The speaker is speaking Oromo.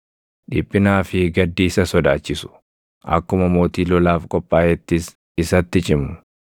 Dhiphinaa fi gaddi isa sodaachisu; akkuma mootii lolaaf qophaaʼeettis isatti cimu;